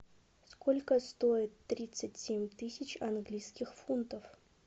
сколько стоит тридцать семь тысяч английских фунтов